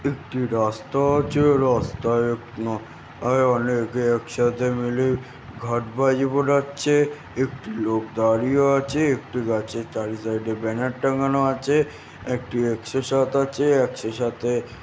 এটি রাস্তা আছে-এ রাস্তায় আন আ অনেকে একসাথে মিলে ঘাট বাজি ফোটাচ্ছে-এ একটি লোক দাঁড়িয়ে আছে-এ একটি গাছে তারই সাইড -এ একটি ব্যানার টাঙানো আছে -এ একটু একশো সাত আছে-এ একশো সাতে--